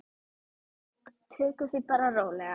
Tökum því bara rólega.